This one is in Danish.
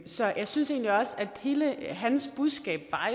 så jeg synes egentlig også at hele hans budskab